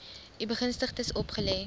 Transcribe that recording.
u begunstigdes opgelê